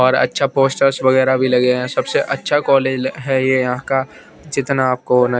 पर अच्छा पोस्टर्स वगेरा भी लगे है सबसे अच्छ कॉलेज है यहाँ का जितना आपको--